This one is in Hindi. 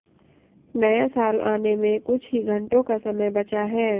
नया साल आने में कुछ ही घंटों का समय बचा है